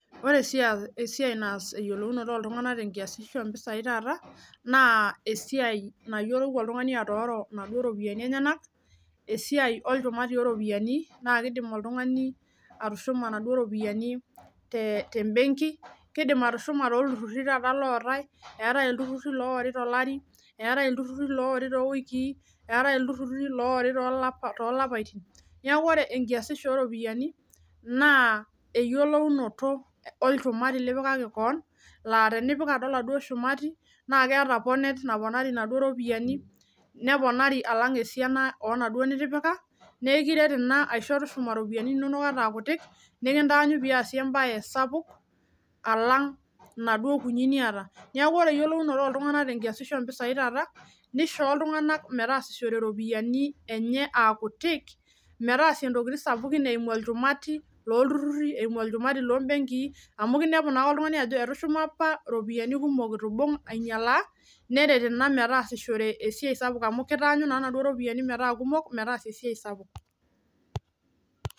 Ore esiai naas iyolounoto oltungana te enkiasiho ompisai taata naa esiai nayiolou oltungani atooro enaduo iropiyiani enyenak, esiai oltungani oropiyiani naa keidim oltungani atushuma enaduo iropiyiani te imbenki. Keidim atushuma too ilturrurri taata lootae, eatae ilturruri loori to ilari, eatae ilturruri oori to lapa, eatae ilturruri oori to ilapatin. Neaku kore enkiasisho ooropiyiani naa eyiolounoto olchumari lipikaki keon, naa tenipik ajo eladuo ilchumari naa keeta ponet naponari enaduo iropiyani, neponari alang esiana onaduo nitipika, naa ekiret ena aisho tushuma iropiyiani inonok ata aakutiik, nikintaanyu piasie embaye sapuk alang naduo kuniii nieta. Naaku ore iyiolounoto ooltungana te enkiasisho ompesai taata neishoo iltunganak meteasishore iropiyiani enyee aa kutiik, meteasie intokitin sapukin eimu olchumati lolturruri, eimu olchumati loo imbenkii amu keiniapu naake oltungani ajo etushuma apa iropiyiani kuok eitu eibung' ainyalaa, neret naa metaasishore esiai sapuk amu keitaanyu naa enaduo iropiyiani metaa kumok, metaasie esiai sapuk.